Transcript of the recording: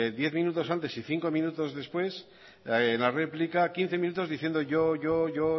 diez minutos antes y cinco minutos después en la réplica quince minutos diciendo yo yo yo